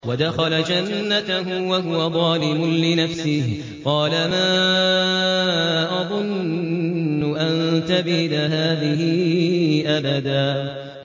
وَدَخَلَ جَنَّتَهُ وَهُوَ ظَالِمٌ لِّنَفْسِهِ قَالَ مَا أَظُنُّ أَن تَبِيدَ هَٰذِهِ أَبَدًا